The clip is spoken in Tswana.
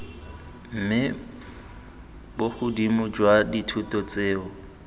mme bogodimo jwa dithoto tseo